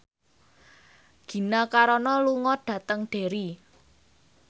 Gina Carano lunga dhateng Derry